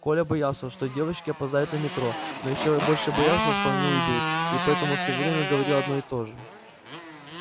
коля боялся что девочки опоздают на метро но ещё больше боялся что они уйдут и поэтому всё время говорил одно и то же